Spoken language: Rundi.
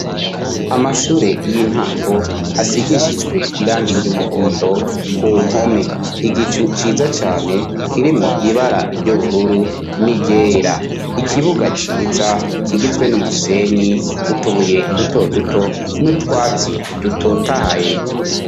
Amashure y'intango asigishiswe iranga iryo umuhondo ku mpome igicu ciza cane kirimwo ibara iryo ubururu n'iryera ikibuga ciza kigizwe n'umusenyi utubuye duto duto n'utwatsi dutotahaye.